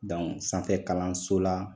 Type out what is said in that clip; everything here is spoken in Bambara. Dɔnku sanfɛ kalanso la